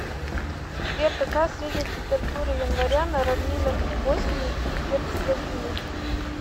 сбер какая средняя температура января на равнинах в боснии и герцеговине